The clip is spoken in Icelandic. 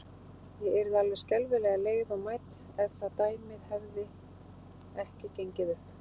Ég yrði alveg skelfilega leið og mædd, ef það dæmi hefði ekki gengið upp.